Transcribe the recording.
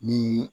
Ni